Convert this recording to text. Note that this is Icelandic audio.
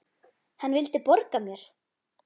Hann vildi borga mér!